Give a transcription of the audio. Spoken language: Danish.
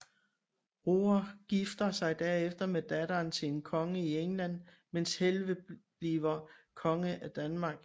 Roar gifter sig derefter med datteren til en konge i England mens Helge bliver konge af Danmark